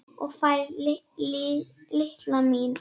Og fær, litla mín.